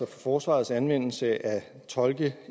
forsvarets anvendelse af tolke